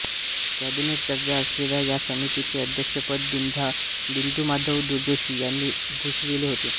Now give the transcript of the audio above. cabinet दर्जा असलेल्या या समितीचे अध्यक्षपद बिंदुमाधव जोशी यांनी भूषविले होते